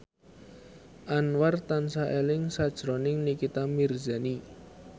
Anwar tansah eling sakjroning Nikita Mirzani